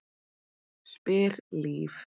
spyr Líf.